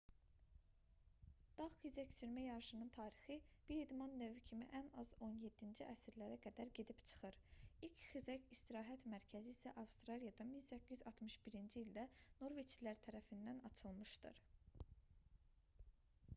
dağ xizəksürmə yarışının tarixi bir idman növü kimi ən az 17-ci əsrlərə qədər gedib çıxır ilk xizək istirahət mərkəzi isə avstraliyada 1861-ci ildə norveçlilər tərəfindən açılmışdır